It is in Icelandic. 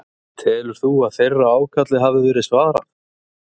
Telur þú að þeirra ákalli hafi verið svarað?